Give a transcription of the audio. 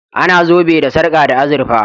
A na zobe da sarka da azurfa